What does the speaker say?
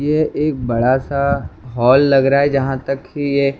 ये एक बड़ा सा हॉल लग रहा है जहां तक कि ये--